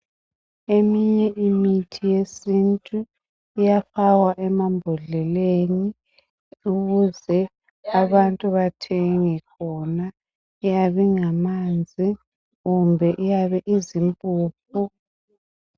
Eminye imithi yesintu iyafakwa emambodleleni ukuze abantu bathenge khona. Iyabe ingamanzi kumbe iyabe izimpuphu.